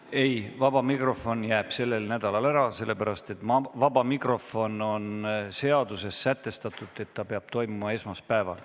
Ei, vaba mikrofon jääb sellel nädalal ära, sest seaduses on sätestatud, et see peab toimuma esmaspäeval.